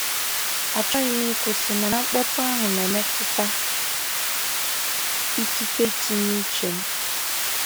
Achọghị m ịkwụsị, mana mkpọtụ ahụ na-emetụta ikike itinye uche m.